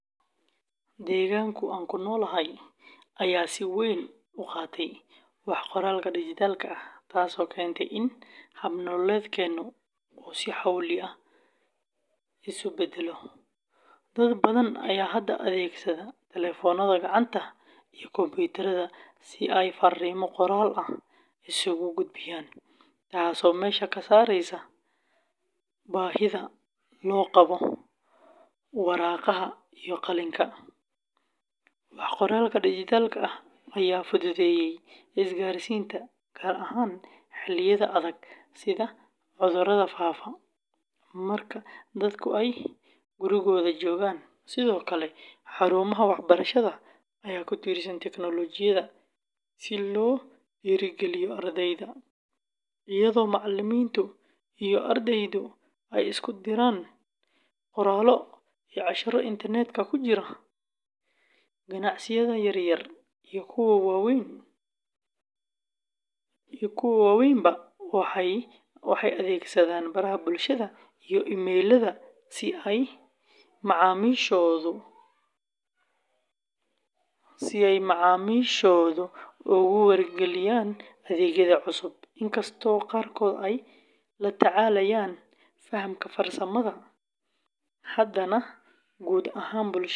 Deegaanka aan ku noolahay ayaa si weyn u qaatay wax-qoraalka dhijitaalka ah, taasoo keentay in hab-nololeedkeennu uu si xawli ah isu beddelo. Dad badan ayaa hadda adeegsada taleefannada gacanta iyo kombuyuutarrada si ay fariimo qoraal ah isugu gudbiyaan, taasoo meesha ka saaraysa baahida loo qabo waraaqaha iyo qalinka. Wax-qoraalka dhijitaalka ah ayaa fududeeyay isgaarsiinta, gaar ahaan xilliyada adag sida cudurada faafa, marka dadku ay gurigooda joogaan. Sidoo kale, xarumaha waxbarashada ayaa ku tiirsan tiknoolajiyadda si loo dhiirrigeliyo ardayda, iyadoo macalimiinta iyo ardaydu ay isku diraan qoraallo iyo casharro internetka ku jira. Ganacsiyada yaryar iyo kuwa waaweynba waxay adeegsadaan baraha bulshada iyo emayllada si ay macaamiishooda ugu wargeliyaan adeegyada cusub. Inkastoo qaarkood ay la tacaalayaan fahamka farsamada, haddana guud ahaan bulshada.